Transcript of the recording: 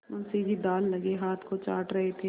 मुंशी जी दाललगे हाथ को चाट रहे थे